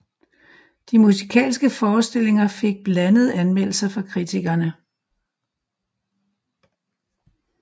De musikalske forestillinger fik blandede anmeldelser fra kritikerne